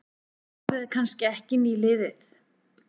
Árið er kannski ekki nýliðið.